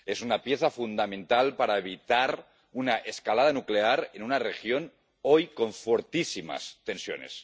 Es una pieza fundamental para evitar una escalada nuclear en una región hoy con fortísimas tensiones.